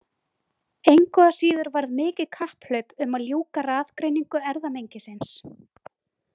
Engu að síður varð mikið kapphlaup um að ljúka raðgreiningu erfðamengisins.